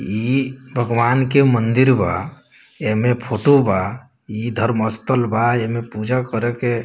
ई भगवान के मंदिर बा । एमे फोटो बा । इ धर्मस्तल बा एमे पूजा करे के --